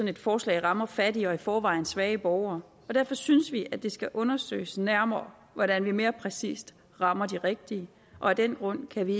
et forslag rammer fattige og i forvejen svage borgere og derfor synes vi det skal undersøges nærmere hvordan man mere præcist rammer de rigtige af den grund kan vi